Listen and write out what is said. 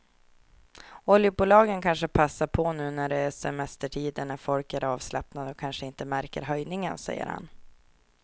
Oljebolagen kanske passar på nu när det är semestertider när folk är avslappnade och kanske inte märker höjningen, säger han.